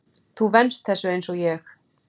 Þú venst þessu einsog ég.